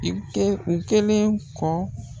I kɛ u kelen kɔ